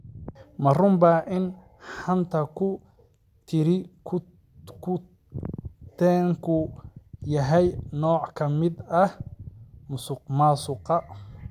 Ma runbaa in xanta-ku-tiri-ku-teenku yahay nooc ka mid ah musuqmaasuqa?